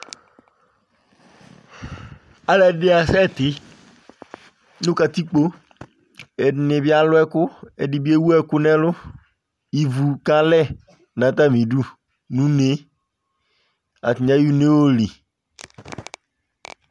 Alʋɛdɩnɩ asɛtɩ nʋ katikpo Ɛdɩnɩ bɩ alʋ ɛkʋ Ɛdɩ bɩ ewu ɛkʋ nʋ ɛlʋ Ivu kalɛ nʋ atamɩdu nʋ une yɛ Atanɩ ayɔ une yɛ yɔli